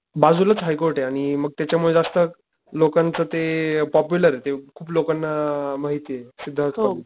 बाजूलाच हाय कोर्ट ये आणि मग त्याच्या मुले जास्त, लोकांचं ते अ पॉप्युलरये ते खूप लोकांना माहितीये सिद्धार्त कॉलेज.